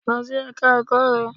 Lọ sí Ẹ̀ka ẹ̀kọ́ rẹ!